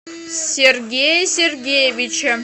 сергее сергеевиче